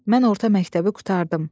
Mən orta məktəbi qurtardım.